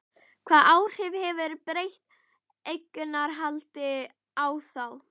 Hvaða áhrif hefur breytt eignarhald á þá?